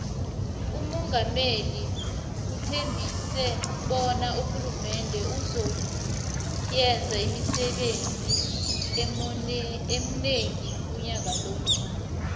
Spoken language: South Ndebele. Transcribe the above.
umungameli uthembise bona urhulumende uzo yenza imisebenzi emonengi unyaka lo